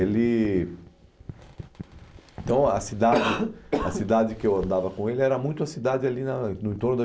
Ele Então a cidade a cidade que eu andava com ele era muito a cidade ali na no entorno do